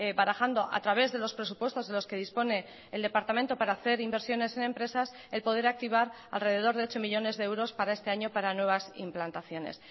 barajando a través de los presupuestos de los que dispone el departamento para hacer inversiones en empresas el poder activar al rededor de ocho millónes de euros para este año para nuevas implantaciones